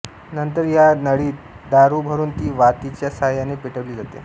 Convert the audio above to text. नंतर या नळीत दारु भरून ती वातीच्या साहाय्याने पेटविली जाते